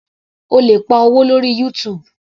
O lè pa owó lórí YouTube.